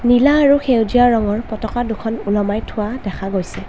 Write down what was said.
নীলা আৰু সেউজীয়া ৰঙৰ পতাকা দুখন ওলোমাই থোৱা দেখা গৈছে।